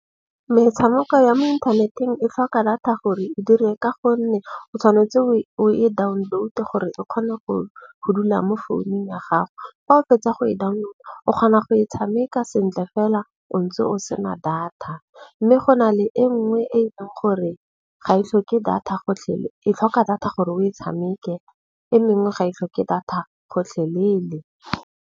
Metshameko ya mo inthaneteng e tlhoka data gore e dire. Ka gonne o tshwanetse o e download-e gore e kgone go dula mo founung ya gago. Fa o fetsa go e download-a o kgona go e tshameka sentle fela o ntse o sena data. Mme go na le e nngwe e e leng gore ga ithloke data e tlhoka data gore o e tshameke, e mengwe ga itlhoke data gotlhelele.